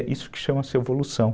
É isso que chama-se evolução.